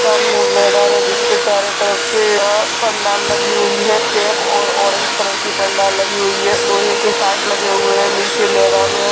सामने एक मैदान है जिस पे चारों तरफ से अ पंडाल लगी हुई है | चेक और ऑरेंज कलर की पंडाल लगी हुयी है | लोहे के पाइप लगे हुये हैं | नीचे मैदान है |